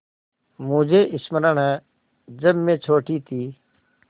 मुझे स्मरण है जब मैं छोटी थी